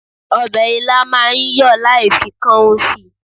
Ọbẹ̀ ilá máa ń yọ láì fi kan ún si.